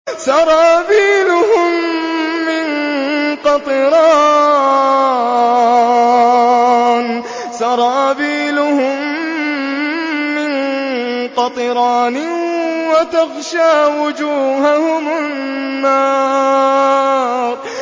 سَرَابِيلُهُم مِّن قَطِرَانٍ وَتَغْشَىٰ وُجُوهَهُمُ النَّارُ